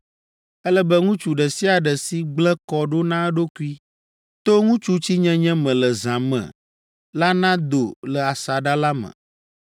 Ele be ŋutsu ɖe sia ɖe si gblẽ kɔ ɖo na eɖokui to ŋutsutsinyenye me le zã me la nado le asaɖa la me,